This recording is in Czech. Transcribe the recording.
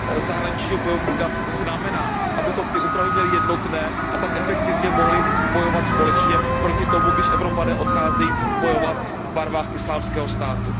zahraničního bojovníka znamená, abychom ty úpravy měli jednotné, a tak efektivně mohli bojovat společně proti tomu, když Evropané odcházejí bojovat v barvách Islámského státu.